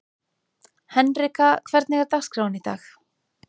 Henrika, hvernig er dagskráin í dag?